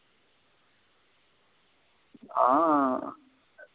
ஆஹ்